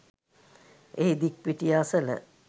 එහි දික්පිටිය අසල